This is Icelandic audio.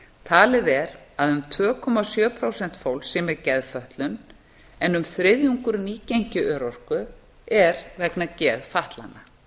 talið er að um tvö komma sjö prósent fólks sé með geðfötlun en um þriðjungur nýgengi örorku er vegna